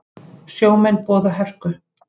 Sjómenn boða hörku